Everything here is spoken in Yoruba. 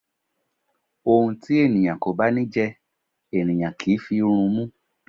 Ohun tí ènìyàn kò bá ní jẹ, ènìyàn kì í fi rumú.